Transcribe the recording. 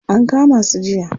An kama su jiya.